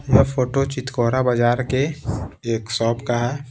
यह फोटो चितकोरा बाजार के एक शॉप का है।